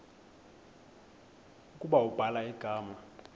ukuba ubhala igama